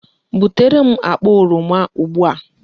Butere m akpa oroma ugbu a!